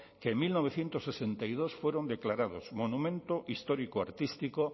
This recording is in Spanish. que en mil novecientos sesenta y dos fueron declarados monumento histórico artístico